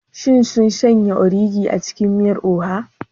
Shin sun sanya ogiri a cikin miyar oha?